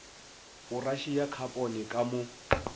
poraše ya khapone ka mo